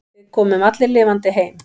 Við komum allir lifandi heim.